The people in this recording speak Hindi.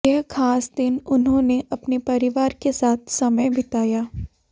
यह खास दिन उन्होंने अपने परिवार के साथ समय बिताया